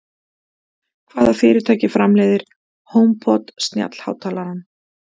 Hvaða fyrirtæki framleiðir Homepod snjallhátalarann?